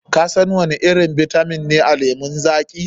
Kasan wani irin bitamin ne a lemon zaƙi?